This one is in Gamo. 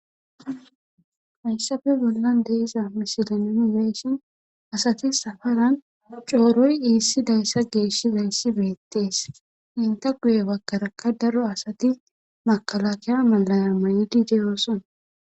hayssafe bollan deesa misidonooni beeshin asati safaran cooroy iissi dayssa geeshshi beyssi beettees inta guye bagkarakka daro asati makalakiya malaya mayidi deyoosona